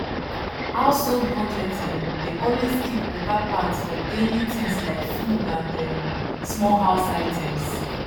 household budget um dey always keep better part for daily things like food and um small house items